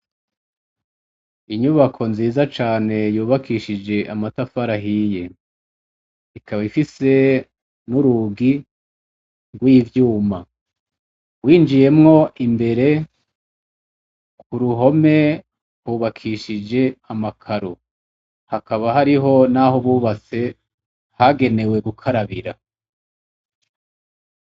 Inyubako nziza cane yubakishije amatafarahiye ikaba ifise n'urugi ngw'ivyuma winjiyemwo imbere ku ruhome hubakishije amakaru hakaba hariho, naho buwe base hagenewe gukarabira.